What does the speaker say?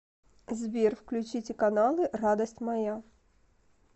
сбер включите каналы радость моя